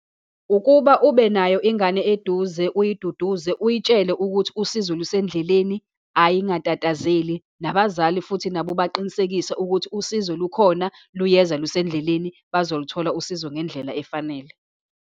Ukuba ubenayo ingane eduze, uyiduduze, uyitshele ukuthi usizo lusendleleni, ayingatatazeli, nabazali futhi nabo ubaqinisekise ukuthi usizo lukhona, luyeza, lusendleleni, bazoluthola usizo ngendlela efanele.